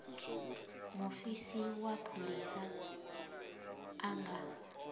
mufisi wa pholisa a nga